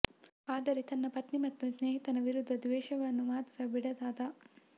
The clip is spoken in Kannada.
ಆದರೆ ತನ್ನ ಪತ್ನಿ ಮತ್ತು ಸ್ನೇಹಿತನ ವಿರುದ್ಧ ದ್ವೇಷವನ್ನು ಮಾತ್ರ ಬಿಡದಾದ